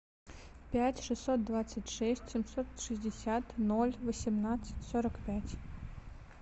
пять шестьсот двадцать шесть семьсот шестьдесят ноль восемнадцать сорок пять